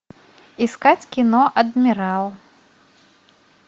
искать кино адмирал